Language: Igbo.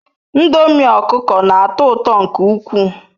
Ndomi okuko n'ato uto nke ukwu